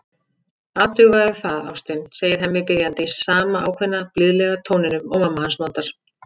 Athugaðu það, ástin, segir Hemmi biðjandi, í sama ákveðna, blíðlega tóninum og mamma hans notar.